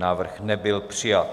Návrh nebyl přijat.